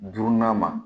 Duurunan ma